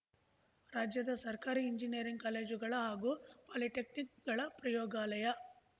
ರಾಜ್ಯದ ಸರ್ಕಾರಿ ಎಂಜಿನಿಯರಿಂಗ್ ಕಾಲೇಜುಗಳ ಹಾಗೂ ಪಾಲಿಟೆಕ್ನಿಕ್‌ಗಳ ಪ್ರಯೋಗಾಲಯ